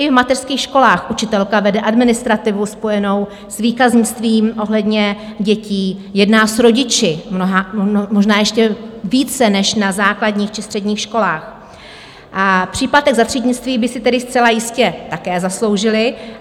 I v mateřských školách učitelka vede administrativu spojenou s výkaznictvím ohledně dětí, jedná s rodiči - možná ještě více než na základních či středních školách - a příplatek za třídnictví by si tedy zcela jistě také zasloužili.